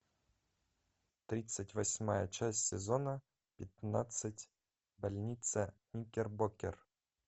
тридцать восьмая часть сезона пятнадцать больница никербокер